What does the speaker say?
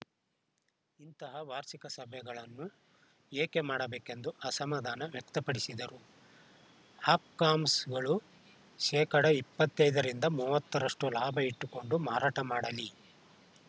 ಇಂತಹ ವಾರ್ಷಿಕ ಸಭೆಗಳನ್ನು ಏಕೆ ಮಾಡಬೇಕೆಂದು ಅಸಮಧಾನ ವ್ಯಕ್ತಪಡಿಸಿದರು ಹಾಪ್‌ಕಾಮ್ಸ್‌ಗಳು ಶೇಕಡಾ ಇಪ್ಪತ್ತ್ ಐದ ರಿಂದ ಮೂವತ್ತು ರಷ್ಟುಲಾಭ ಇಟ್ಟುಕೊಂಡು ಮಾರಾಟ ಮಾಡಲಿ